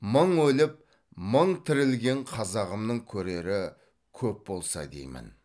мың өліп мың тірілген қазағымның көрері көп болса деймін